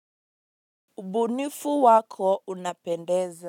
Ubunifu wako unapendeza.